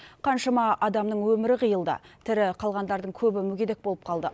қаншама адамның өмірі қиылды тірі қалғандардың көбі мүгедек болып қалды